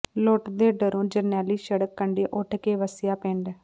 ਲੁੱਟ ਦੇ ਡਰੋਂ ਜਰਨੈਲੀ ਸੜਕ ਕੰਢਿਉਂ ਉੱਠ ਕੇ ਵਸਿਆ ਪਿੰਡ